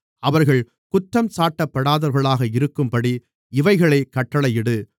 அவர்கள் குற்றஞ்சாட்டப்படாதவர்களாக இருக்கும்படி இவைகளைக் கட்டளையிடு